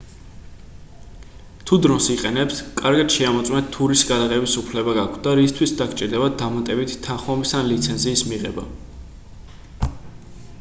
თუ დრონს იყენებთ კარგად შეამოწმეთ თუ რისი გადაღების უფლება გაქვთ და რისთვის დაგჭირდებათ დამატებით თანხმობის ან ლიცენზიის მიღება